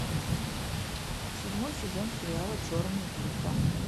седьмой сезон сериала черные паруса